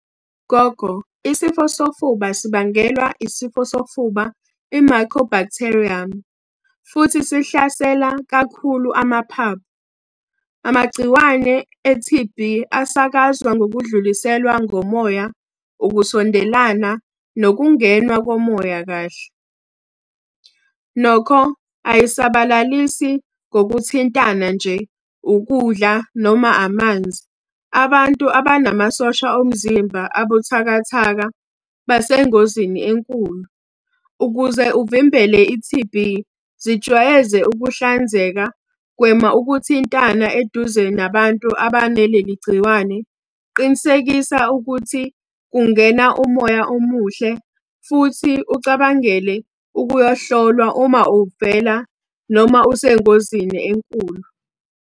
Gogo, isifo sofuba sibangelwa isifo sofuba i-Mycobacterium, futhi sihlasela kakhulu amaphaphu. Amagciwane e-T_B asakazwa ngokudluliselwa ngomoya, ukusondelana, nokungenwa komoya kahle. Nokho ayisabalalisi ngokuthintana nje, ukudla noma amanzi. Abantu abanamasosha omzimba abuthakathaka basengozini enkulu. Ukuze uvimbele i-T_B, zijwayeze ukuhlanzeka, gwema ukuthintana eduze nabantu abanaleli gciwane. Qinisekisa ukuthi kungena umoya omuhle, futhi ucabangele ukuyohlolwa uma uvela noma usengozini enkulu.